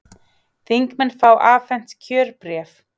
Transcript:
Þingmenn fá afhent kjörbréf